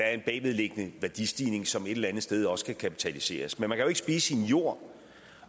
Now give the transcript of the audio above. er en bagvedliggende værdistigning som et eller andet sted også skal kapitaliseres men man kan jo ikke spise sin jord